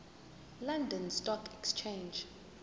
london stock exchange